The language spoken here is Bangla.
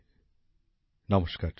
আমার প্রিয় দেশবাসী নমস্কার